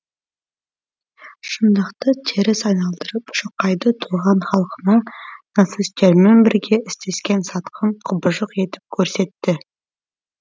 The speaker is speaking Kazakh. шындықты теріс айналдырып шоқайды туған халқына нацистермен бірге істескен сатқын құбыжық етіп көрсетті